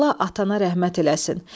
Allah atana rəhmət eləsin.